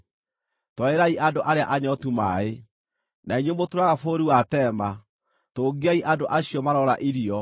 twarĩrai andũ arĩa anyootu maaĩ; na inyuĩ mũtũũraga bũrũri wa Tema, tũngiai andũ acio maroora irio